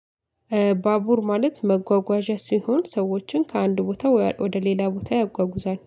ባቡር ማለት መጓጓዣ ሲሆን ሰዎችን ከአንድ ቦታ ወደ ሌላ ቦታ ያጓጉዛል።